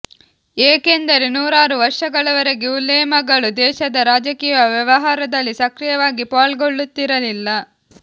ಏಕೆಂದರೆ ನೂರಾರು ವರ್ಷಗಳವರೆಗೆ ಉಲೇಮಗಳು ದೇಶದ ರಾಜಕೀಯ ವ್ಯವಹಾರದಲ್ಲಿ ಸಕ್ರಿಯವಾಗಿ ಪಾಲುಗೊಳ್ಳುತ್ತಿರಲಿಲ್ಲ